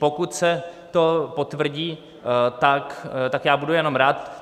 Pokud se to potvrdí, tak já budu jenom rád.